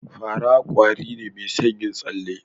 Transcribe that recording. Fa ra kwari ne mai son yin tsale